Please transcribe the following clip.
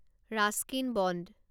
Ruskin bond